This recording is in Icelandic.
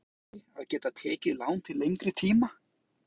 En er ekki jákvætt fyrir íslensk heimili að geta tekið lán til lengri tíma?